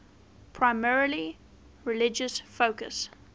primarily religious focus